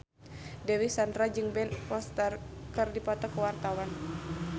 Dewi Sandra jeung Ben Foster keur dipoto ku wartawan